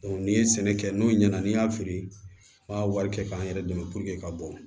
n'i ye sɛnɛ kɛ n'o ɲɛna n'i y'a feere i b'a wari kɛ k'an yɛrɛ dɛmɛ ka bɔ